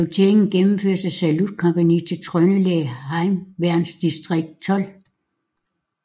Salutteringen gennemføres af Salutkompagniet til Trøndelag Heimevernsdistrikt 12